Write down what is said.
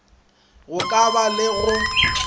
go ka ba le go